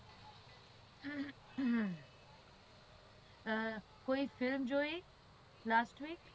હમ્મ કોઈ film જોઈ lastweek